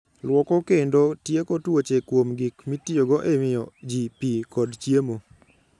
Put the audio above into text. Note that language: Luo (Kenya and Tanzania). Lwoko kendo tieko tuoche kuom gik mitiyogo e miyo ji pi kod chiemo.